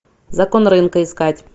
закон рынка искать